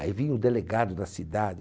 Aí vinha o delegado da cidade.